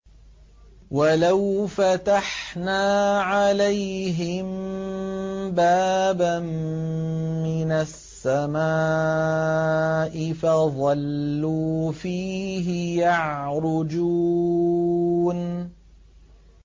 وَلَوْ فَتَحْنَا عَلَيْهِم بَابًا مِّنَ السَّمَاءِ فَظَلُّوا فِيهِ يَعْرُجُونَ